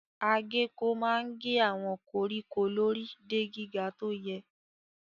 Agéko máa ń gé àwọn koríko lórí de gíga tó yẹ.